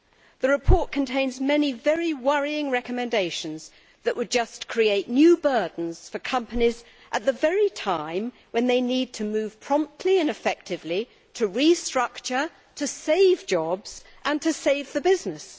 The report contains many very worrying recommendations that would just create new burdens for companies at the very time when they need to move promptly and effectively to restructure, to save jobs and to save the business.